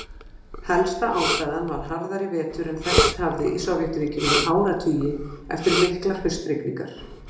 Helsta ástæðan var harðari vetur en þekkst hafði í Sovétríkjunum í áratugi, eftir miklar haustrigningar.